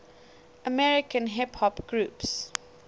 american hip hop groups